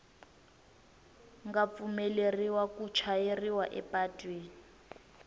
nga pfumeleriwa ku chayeriwa epatwini